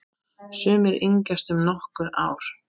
Sumir yngjast um nokkur ár.